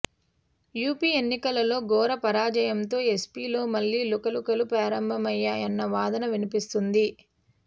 UP ఎన్నికల్లో ఘోర పరాజయంతో ఎస్పీలో మళ్లీ లుకలుకలు ప్రారంభమయ్యాయన్న వాదన వినిపిస్తోంది